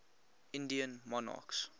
indian monarchs